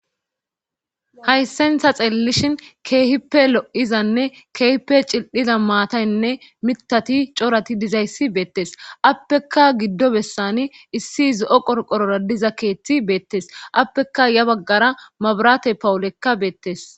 Hayssentha xeellishhin keehippe lo7izanne keehippe cil7iza maataynne mitati corati dizayssi beettes appeka giddo bessani issi zo7o qorqorora diza keeththi beettes appeka ya baggara mabarate pawulekka beettes.